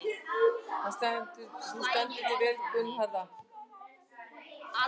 Þú stendur þig vel, Gunnharða!